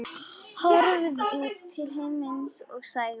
Horfði til himins og sagði: